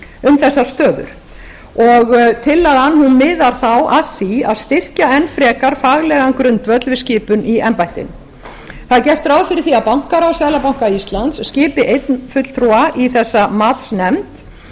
um þessar stöður tillagan miðar þá að því að styrkja enn frekar faglegan grundvöll við skipun í embætti það er gert ráð fyrir því að bankaráð seðlabanka íslands skipi einn fulltrúa í þessa matsnefnd